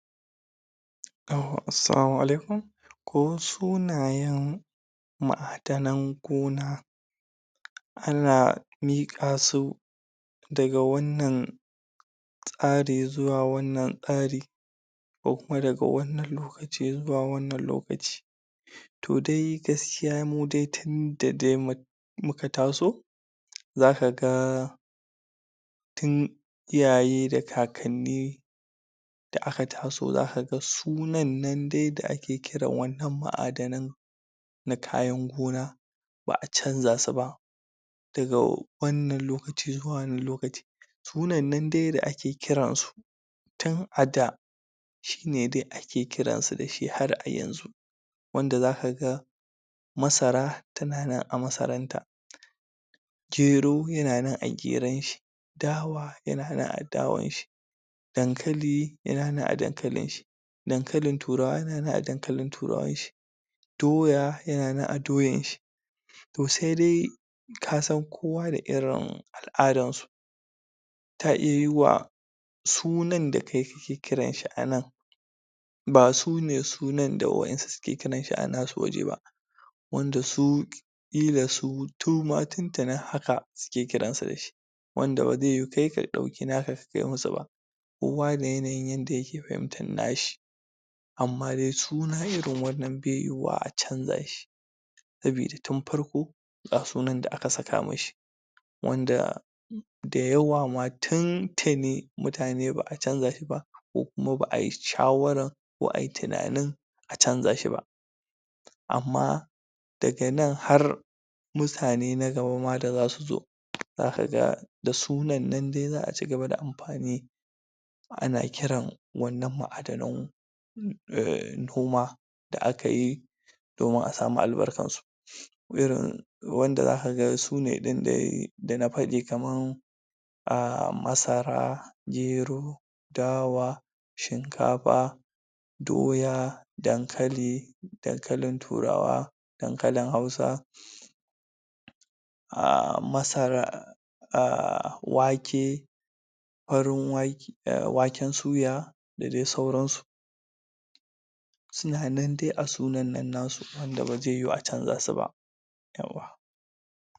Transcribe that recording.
um, Assalamu alaikum ko suna yen ma a danan gona anan miƙasu daga wannan tasari zuwa wannan tsari ko kuma daga wannan lo kaci zuwa wannan lokaci to dai gaskiya mudai tinda dai mun muka taso zaka ga tin iyaye da kakanni da aka taso zakaga sunanne dai da ake kiran wannan ma a danan na kayan gona ba a canja su ba daga wannan lokaci zuwa wannan lokaci gonanne dai da ake kiransu tin a da shine dai ake kiransu dashi har iyan zu wanda zakaga masara tananan a masaranta gero yananan a geronshi dawa yananan a dawanshi dan kali yananan a dankalinshi dan kalin turawa yananan a dan kali turawanshi doya yananan a doyan shi to sedai kasan kowa da irin al'adan su ta iya yuwuwa sunan da kayi ta kiranshi anan ba shine sunan da wasu suke kiranshi a nasu waje ba wanda su ƙila su suma tintini haka suke kiransu da shi wanda baze yiwu kai ka ɗauka naka ka kai musuba kowa da yanayin yanda yake fahimtan nashi amma dai suna dai irin wannan be yuwuwa a canjashi sabida tin farko ga sunan da aka saka mashi wanda da yawa ma tin tini mutane ba a canja shiba ko kuma ba ai shawaran ko ai tinanin a canja shiba amma daga nan har mutane na gaba ma da zasu zo zakaga da sunanne dai za a ci gaba da amfani ana kiran wannan ma' danan e noma da akayi domin asamu albarkansu ko irin wanda zakaga sune ɗin dai da na faɗi kaman a masara gero dawa shin kafa doya dan kali dan kalin turawa dan kalin hausa a, masara a,wake farin wa waken suya da dai sauran su sunanan dai a sunanan nan nasu wanda ba ze yiwu a canja su ba yauwa